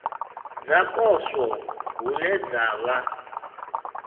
dza poswo hune dza vha